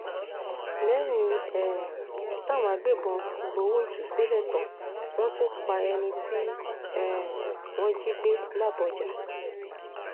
lẹ́yìn um táwọn agbébọn gbowó ìtúsílẹ̀ tán wọ́n tún pa ẹni tí um wọ́n jí gbé làbójà